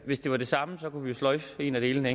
hvis det var det samme kunne vi jo sløjfe en af delene